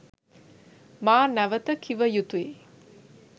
මා නැවත කිව යුතුයි.